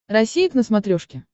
россия к на смотрешке